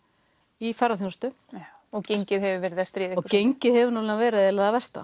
í ferðaþjónustu og gengið hefur verið að stríða ykkur og gengið hefur verið eiginlega það versta